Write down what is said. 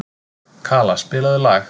Kala, spilaðu lag.